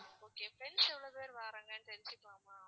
okay friends எவ்ளோ பேர் வாராங்கன்னு தெரிஞ்சுக்கலாமா?